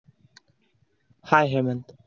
हाय Hemant.